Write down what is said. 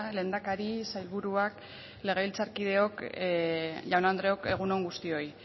lehendakari sailburuak legebiltzarkideok jaun andreok egun on guztioi